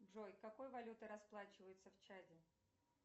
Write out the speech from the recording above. джой какой валютой расплачиваются в чаде